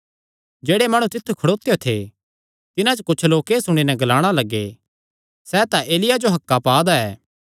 जेह्ड़े माणु तित्थु खड़ोत्यो थे तिन्हां च कुच्छ लोक एह़ सुणी नैं ग्लाणा लग्गे सैह़ तां एलिय्याह जो हक्कां पा दा ऐ